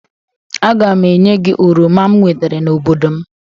A ga m enye gi oroma m wetere n'obodo m